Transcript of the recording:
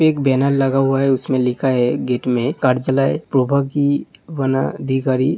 एक बैनर लगा हुआ है। उसमें लिखा है गेट में करजालय प्रोभागीय वना धिकारी।